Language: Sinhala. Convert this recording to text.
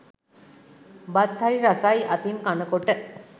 බත් හරි රසයි අතින් කනකොට.